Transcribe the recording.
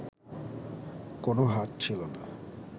কোনও হাত ছিল না